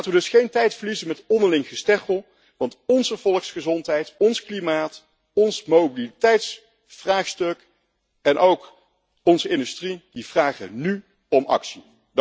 Laten we dus geen tijd verliezen met onderling gesteggel, want onze volksgezondheid, ons klimaat, ons mobiliteitsvraagstuk en ook onze industrie vragen nu om actie.